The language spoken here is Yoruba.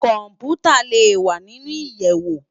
Kòmpútá lé wá ninú iyèwó